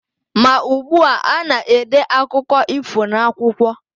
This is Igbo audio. Ma ugbua, a na-ede akụkọ ifo n'akwụkwọ.